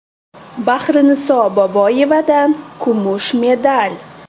Bahriniso Boboyevadan kumush medal!